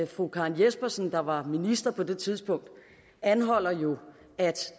fru karen jespersen der var minister på det tidspunkt anholdt jo at